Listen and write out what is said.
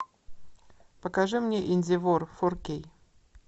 покажи мне инди вор фор кей